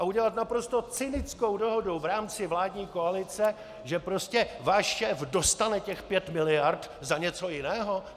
A udělat naprosto cynickou dohodou v rámci vládní koalice, že prostě váš šéf dostane těch pět miliard za něco jiného?